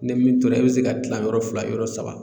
Ni min tora i bɛ se k'a tila yɔrɔ fila yɔrɔ saba